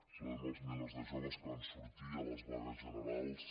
saludem els milers de joves que van sortir a les vagues generals